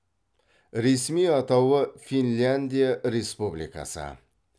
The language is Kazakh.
ресми атауы финляндия республикасы